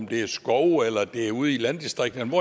det er i skovene eller det er ude i landdistrikterne